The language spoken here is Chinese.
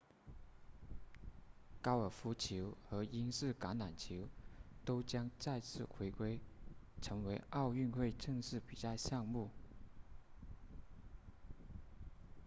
高尔夫球和英式橄榄球都将再次回归成为奥运会正式比赛项目